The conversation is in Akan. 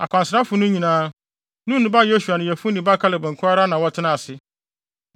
Akwansrafo no nyinaa, Nun ba Yosua ne Yefune ba Kaleb nko ara na wɔtenaa ase.